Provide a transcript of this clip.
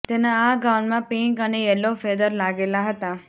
તેના આ ગાઉનમાં પિંક અને યેલો ફેદર લાગેલા હતા